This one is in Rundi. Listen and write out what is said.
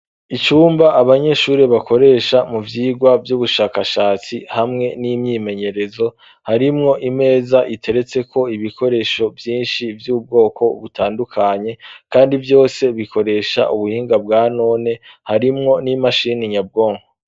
Icumba abanyeshure bakoresha mu vyigwa vy'ubushakashatsi hamwe n'imyimenyerezo, harimwo imeza iteretseko ibikoresho vyinshi vy'ubwoko butandukanye kandi vyose bikoresha ubuhinga bwa none, harimwo n'imashini nyabwonko.